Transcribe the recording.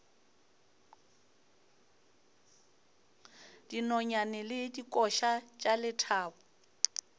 dinonyane le dikoša tša lethabo